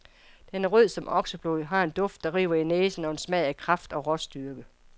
Den er rød som okseblod, har en duft, der river i næsen og en smag af kraft og råstyrke.